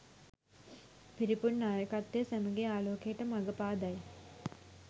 පිරිපුන් නායකත්වය සැමගේ ආලෝකයට මග පාදයි